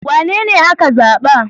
Wanene ka zaɓa?